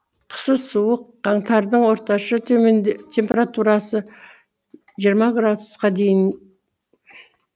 қысы суық қаңтардың орташа температурасы жиырма градусқа дейін